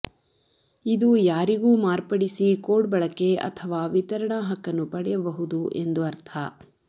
ಇದು ಯಾರಿಗೂ ಮಾರ್ಪಡಿಸಿ ಕೋಡ್ ಬಳಕೆ ಅಥವಾ ವಿತರಣಾ ಹಕ್ಕನ್ನು ಪಡೆಯಬಹುದು ಎಂದು ಅರ್ಥ